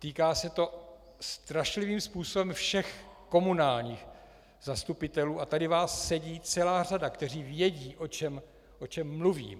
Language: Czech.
Týká se to strašlivým způsobem všech komunálních zastupitelů, a tady vás sedí celá řada, kteří vědí, o čem mluvím.